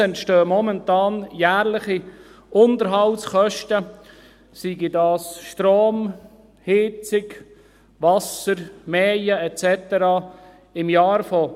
Momentan entstehen jährliche Unterhaltskosten von 200 000 Franken für Strom, Heizung, Wasser, Mähen und so weiter.